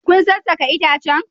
Kun sassake itacen?